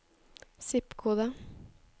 zip-kode